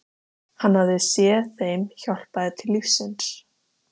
Hann hafði séð þeim hjálpað til lífsins.